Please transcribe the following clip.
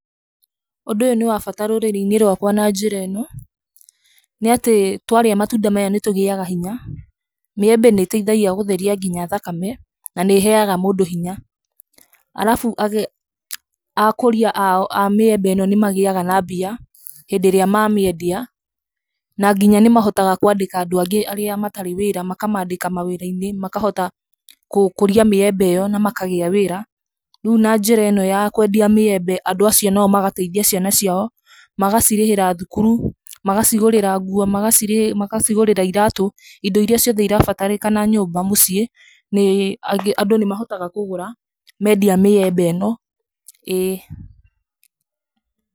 Ũndũ ũyũ nĩ wa bata rũrĩrĩ-inĩ rwakwa na njĩra ĩno, nĩ atĩ, twarĩa matunda maya nĩ tũgĩaga hinya. Mĩembe nĩ ĩteithagia gũtheria nginya thakame na nĩ heaga mũndũ hinya. Arabu akũria a mĩembe ĩno nĩ magĩaga na mbia hĩndĩ ĩrĩa mamendia na nginya nĩ mahotaga kwandĩka andũ angĩ arĩa matarĩ wĩra makamandĩka mawĩra-inĩ makahota gũkũria mĩembe ĩyo na makahota kũgĩa wĩra. Rĩu na njĩra ĩno ya kwendia mĩembe ĩyo andũ acio nao magateithia ciana ciao magacirĩhĩra thukuru, magacigũrĩra nguo, magacigũrĩra iratũ, indo iria ciothe irabatarĩkana nyũmba mũciĩ andũ nĩ mahotaga kũgũra mendia mĩembe ĩno, ĩĩ.